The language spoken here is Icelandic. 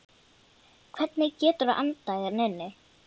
Hvernig geturðu andað hérna inni?